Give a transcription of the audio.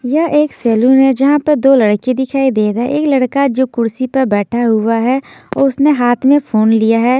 यह एक सैलून है जहां पर दो लड़के दिखाई दे रहा है एक लड़का जो कुर्सी पर बैठा हुआ है और उसने हाथ में फोन लिया है।